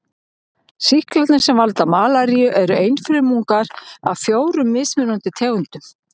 Sýklarnir sem valda malaríu eru einfrumungar af fjórum mismunandi tegundum.